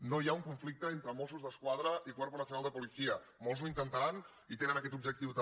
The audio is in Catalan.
no hi ha un conflicte entre mossos d’esquadra i cuerpo nacional de policía molts ho intentaran i tenen aquest objectiu també